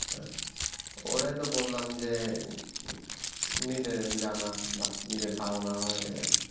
ওটাই তো বললাম যে নিজে জানা বা নিজের ধারণা হয় এটাই।